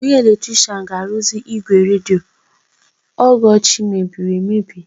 Onye eletrishian ga-arụzi ígwè redio Ọgọchi mebiri emebi.